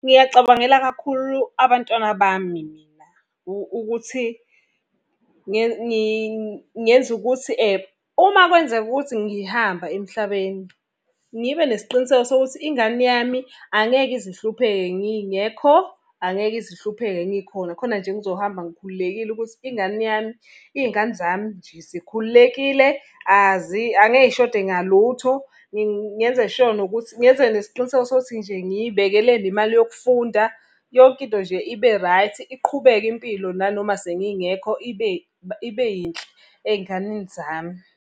Ngingacabangela kakhulu abantwana bami mina, ukuthi ngenze ukuthi uma kwenzeka ukuthi ngihamba emhlabeni, ngibe nesiqiniseko sokuthi ingane yami angeke ize ihlupheke ngingekho, angeke ize ihlupheke ngikhona. Khona nje ngizohamba ngikhululekile ukuthi ingane yami, iy'ngane zami nje, zikhululekile angeke iy'shode ngalutho. Ngenze sure nokuthi, ngenze nesiqiniseko sokuthi nje ngiy'bekele nemali yokufunda. Yonke into nje ibe right, iqhubeke impilo nanoma sengingekho ibe ibe yinhle ey'nganeni zami.